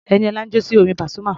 Ẹniọlá ń jó sí orin Pasuma.